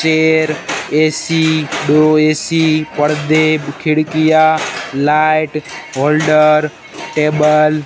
पेड़ ए_सी दो ए_सी पर्दे खिड़कियां लाइट होल्डर टेबल --